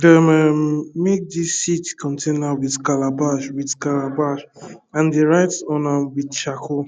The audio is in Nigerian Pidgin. dey um make dis seed container with calabash with calabash and dey write on am with charcoal